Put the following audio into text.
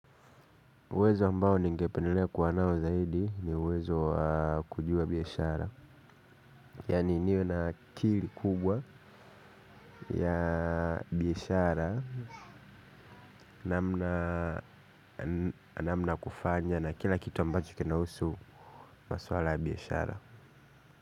Uwezo ambao ningependelea kuwa nao zaidi ni uwezo kujua biashara. Yani niwe na akili kubwa ya biashara. Namna ya kufanya na kila kitu ambacho kinahusu maswala ya biashara.